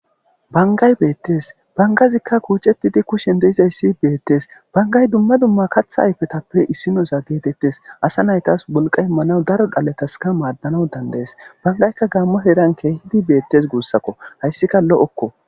Bangay beetes bangazoka kuucetidi kushen dizaysi beetes bangazy duma duma kaatha ayfetappe issinoza geetetes ASA naytas wolqa imanawnne issi isso miishatas madanaw danda'ees bangayka gamo heeran keehidi beetes guusako. Haysika lo'oko.